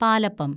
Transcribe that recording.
palappam